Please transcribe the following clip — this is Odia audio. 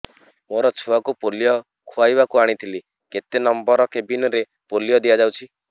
ମୋର ଛୁଆକୁ ପୋଲିଓ ଖୁଆଇବାକୁ ଆଣିଥିଲି କେତେ ନମ୍ବର କେବିନ ରେ ପୋଲିଓ ଦିଆଯାଉଛି